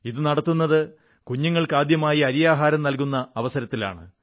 ഇത് നടത്തുന്നത് കുഞ്ഞുങ്ങൾക്ക് ആദ്യമായി അരിയാഹാരം നല്കുന്ന അവസരത്തിലാണ്